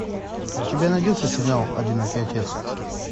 у тебя найдется сериал одинокий отец